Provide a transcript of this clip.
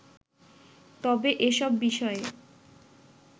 তবে এসব বিষয়ে